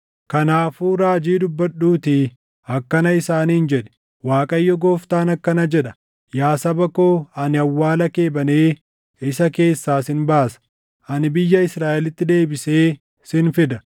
Kanaafuu raajii dubbadhuuttii akkana isaaniin jedhi: ‘ Waaqayyo Gooftaan akkana jedha: Yaa saba koo ani awwaala kee banee isa keessaa sin baasa; ani biyya Israaʼelitti deebisee sin fida.